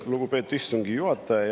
Lugupeetud istungi juhataja!